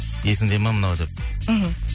есіңде ма мынау деп мхм